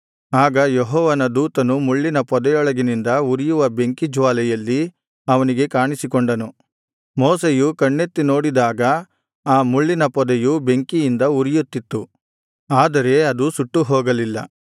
ಆಗ ಯೆಹೋವನ ದೂತನು ಮುಳ್ಳಿನ ಪೊದೆಯೊಳಗಿನಿಂದ ಉರಿಯುವ ಬೆಂಕಿ ಜ್ವಾಲೆಯಲ್ಲಿ ಅವನಿಗೆ ಕಾಣಿಸಿಕೊಂಡನು ಮೋಶೆಯು ಕಣ್ಣೆತ್ತಿ ನೋಡಿದಾಗ ಆ ಮುಳ್ಳಿನ ಪೊದೆಯು ಬೆಂಕಿಯಿಂದ ಉರಿಯುತ್ತಿತ್ತು ಆದರೆ ಅದು ಸುಟ್ಟು ಹೋಗಲಿಲ್ಲ